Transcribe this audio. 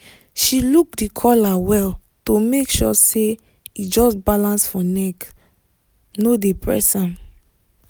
she look the collar well to make sure say e just balance for neck no dey press am